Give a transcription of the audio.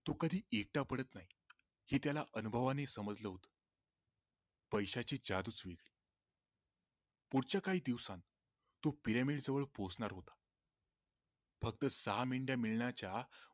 तो कधी एकटा पडत नाही हे त्याला अनुभवाने समजल होत पैशांची जादूच वेगळी पुढच्या काही दिवसात तो पिरामिड जवळ पोचणार होता फक्त सहा मेंढया देण्याच्या